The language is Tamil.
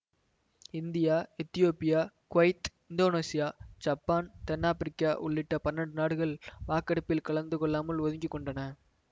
இந்தியா எத்தியோப்பியா குவைத் இந்தோனேசியா சப்பான் தென்னாப்பிரிக்கா உள்ளிட்ட பன்னெண்டு நாடுகள் வாக்கெடுப்பில் கலந்து கொள்ளாமல் ஒதுங்கி கொண்டன